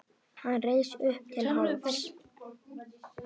Hann reis upp til hálfs.